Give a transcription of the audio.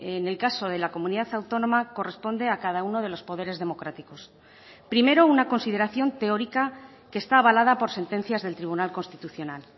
en el caso de la comunidad autónoma corresponde a cada uno de los poderes democráticos primero una consideración teórica que está avalada por sentencias del tribunal constitucional